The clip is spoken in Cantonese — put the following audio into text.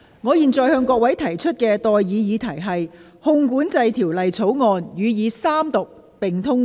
我現在向各位提出的待議議題是：《汞管制條例草案》予以三讀並通過。